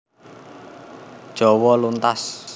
Jawa luntas